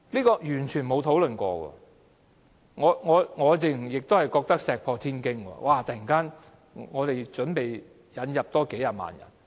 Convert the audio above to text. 我認為這簡直是石破天驚，我們竟突然準備引入數十萬人。